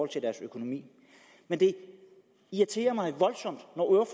til deres økonomi men det irriterer mig voldsomt